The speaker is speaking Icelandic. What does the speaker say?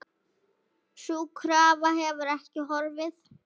Sú krafa hefur ekki horfið.